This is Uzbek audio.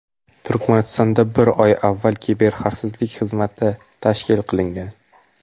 Turkmanistonda bir oy avval Kiberxavfsizlik xizmati tashkil qilingan.